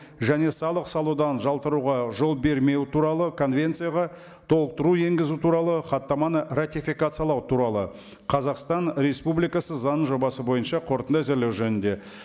және салық салудан жалтаруға жол бермеу туралы конвенцияға толықтыру енгізу туралы хаттаманы ратификациялау туралы қазақстан республикасы заңының жобасы бойынша қорытынды әзірлеу жөнінде